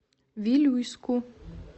вилюйску